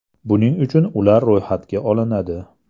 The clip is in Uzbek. Buning uchun ular ro‘yxatga olinadi.